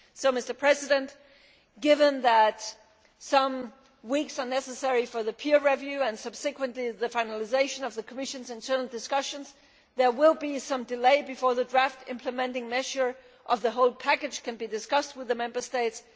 So, given that some weeks are necessary for the peer review and subsequently the finalisation of the Commission's internal discussions, there will be some delay before the draft implementing measure of the whole package can be discussed with the Member States.